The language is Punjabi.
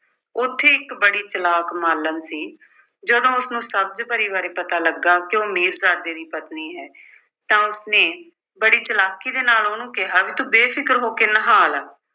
ਉੱਥੇ ਇੱਕ ਬੜੀ ਚਾਲਾਕ ਮਾਲਣ ਸੀ, ਜਦੋਂ ਉਸਨੂੰ ਸਬਜ਼ ਪਰੀ ਬਾਰੇ ਪਤਾ ਲੱਗਾ ਕਿ ਉਹ ਮੀਰਜ਼ਾਦੇ ਦੀ ਪਤਨੀ ਹੈ ਤਾਂ ਉਸਨੇ ਬੜੀ ਚਾਲਾਕੀ ਦੇ ਨਾਲ ਉਹਨੂੰ ਕਿਹਾ ਵੀ ਤੂੰ ਬੇਫਿਕਰ ਹੋ ਕੇ ਨਹਾ ਲੈ